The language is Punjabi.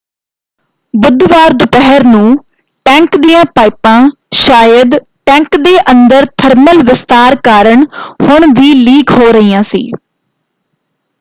ਬੁੱਧਵਾਰ ਦੁਪਹਿਰ ਨੂੰ ਟੈਂਕ ਦੀਆਂ ਪਾਈਪਾਂ ਸ਼ਾਇਦ ਟੈਂਕ ਦੇ ਅੰਦਰ ਥਰਮਲ ਵਿਸਤਾਰ ਕਾਰਨ ਹੁਣ ਵੀ ਲੀਕ ਹੋ ਰਹੀਆਂ ਸੀ।